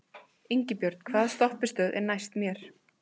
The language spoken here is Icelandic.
Ingibjörn, hvaða stoppistöð er næst mér?